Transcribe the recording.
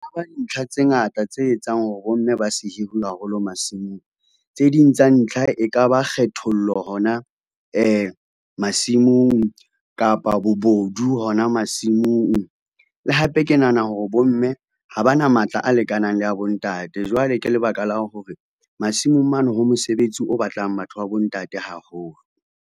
Dintlha tse ngata tse etsang hore bomme ba se hiruwe haholo masimong, tse ding tsa ntlha e ka ba kgethollo hona masimong kapa bobodu hona ho masimong. Le hape ke nahana hore bomme ha ba na matla a lekanang le ya bontate, jwale ke lebaka la hore masimong mane ho mosebetsi o batlang batho ba bontate haholo.